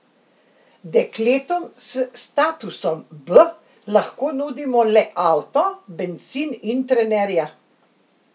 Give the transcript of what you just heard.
Dekletom s statusom B lahko nudimo le avto, bencin in trenerja.